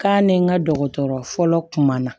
K'a ni n ka dɔgɔtɔrɔ fɔlɔ kuma na